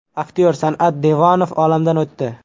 Aktyor San’at Devonov olamdan o‘tdi.